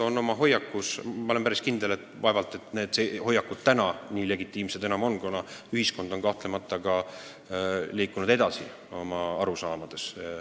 Ma olen päris kindel, et vaevalt need vanad hoiakud nüüd nii legitiimsed enam on, kuna ühiskond on oma arusaamades kahtlemata edasi liikunud.